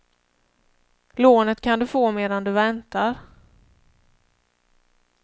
Lånet kan du få medan du väntar.